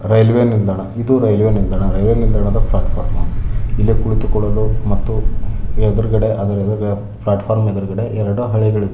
Railway ನಿಲ್ದಾಣ ಇದು railway ನಿಲ್ದಾಣದ ಫ್ಲ್ಯಾಟ್ ಫಾರ್ಮ್ ಇಲ್ಲಿ ಕುಳಿತುಕೊಳ್ಳಲು ಮತ್ತು ಆದರೆ ಎದುರುಗಡೆ ಪ್ಲಾಟ್ಫಾರ್ಮ್ ಎದುರುಗಡೆ ಎರಡು ಹಳೆ ಇದೆ.